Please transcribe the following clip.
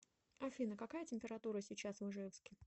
афина какая температура сейчас в ижевске